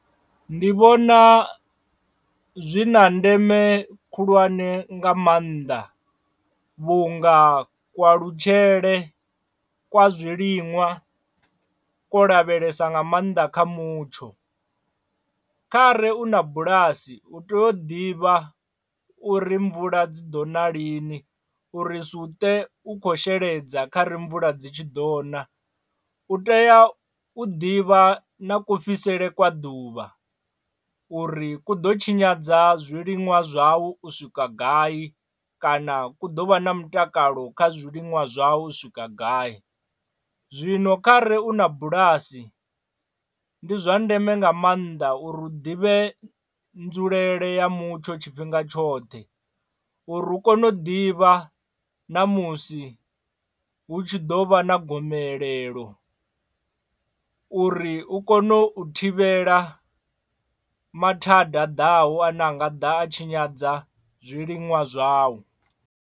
Ndi vhona zwi na ndeme khulwane nga maanḓa vhunga kualutshele kwa zwiliṅwa ku lavhelesa nga maanḓa kha mutsho, kha re u na bulasi hu tea u ḓivha u ri mvula dzi ḓo na lini uri u ṱe u kho sheledza kha ri mvula dzi tshi ḓo ṋa, u tea u ḓivha na ku fhisele kwa ḓuvha uri ku ḓo tshinyadza zwiliṅwa zwau u swika gai kana ku ḓovha na mutakalo kha zwiḽiṅwa zwau u swika gai. Zwino kha re u na bulasi ndi zwa ndeme nga maanḓa uri u ḓivhe nzulele ya mutsho tshifhinga tshoṱhe uri u kone u ḓivha na musi hu tshi ḓo vha na gomelelo uri u kone u thivhela mathada a ḓaho ane anga ḓa a tshinyadza zwiliṅwa zwau.